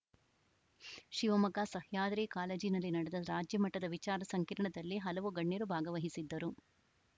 ಶಿವಮೊಗ್ಗ ಸಹ್ಯಾದ್ರಿ ಕಾಲೇಜಿನಲ್ಲಿ ನಡೆದ ರಾಜ್ಯಮಟ್ಟದ ವಿಚಾರ ಸಂಕಿರಣದಲ್ಲಿ ಹಲವು ಗಣ್ಯರು ಭಾಗವಹಿಸಿದ್ದರು